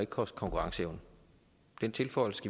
koste konkurrenceevne den tilføjelse